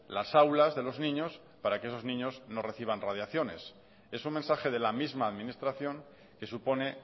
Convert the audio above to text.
las aulas de los niños para que esos niños no reciban radiaciones es un mensaje de la misma administración que supone